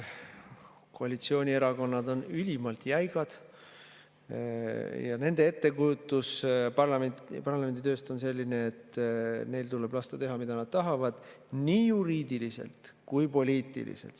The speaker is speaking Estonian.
Koalitsioonierakonnad on ülimalt jäigad ja nende ettekujutus parlamendi tööst on selline, et neil tuleb lasta teha, mida nad tahavad, nii juriidiliselt kui poliitiliselt.